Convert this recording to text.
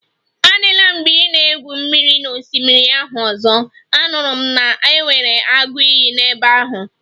Adịla mgbe ị na-egwu mmiri n'osimiri ahụ ọzọ, anụrụ m na e nwere agụ iyi n'ebe ahụ